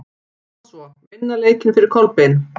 Koma svo, vinna leikinn fyrir Kolbein!